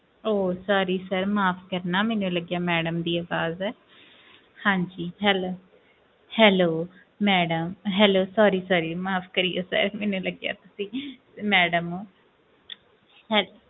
ਉਹ sorry sir ਮਾਫ਼ ਕਰਨਾ ਮੈਨੂੰ ਲੱਗਿਆ madam ਦੀ ਆਵਾਜ਼ ਹੈ ਹਾਂਜੀ hell~ hello madam hello sorry sorry ਮਾਫ਼ ਕਰਿਓ sir ਮੈਨੂੰ ਲੱਗਿਆ ਤੁਸੀਂ madam ਹੋ ਹਾਂ~